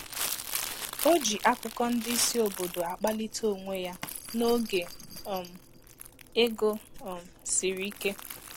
O ji akụkọ ndị isi óbọ̀dò akpalite onwe ya n’oge um ego um siri ike.